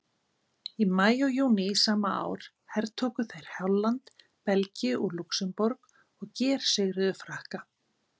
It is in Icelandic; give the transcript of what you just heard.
Í maí og júní sama ár hertóku þeir Holland, Belgíu og Lúxemborg og gersigruðu Frakka.